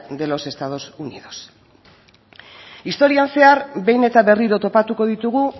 de los estados unidos historian zehar behin eta berriro topatuko ditugu